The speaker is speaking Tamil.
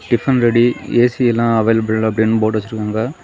டிபன் ரெடி ஏ_சி லாம் அவைளப்பில் அப்டினு போர்டு வச்சிருக்காங்க.